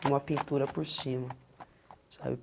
E uma pintura por cima, sabe?